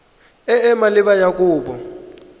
e e maleba ya kopo